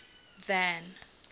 van